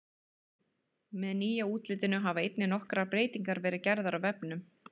Með nýja útlitinu hafa einnig nokkrar breytingar verið gerðar á vefnum.